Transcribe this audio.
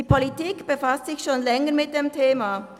Die Politik befasst sich schon länger mit dem Thema.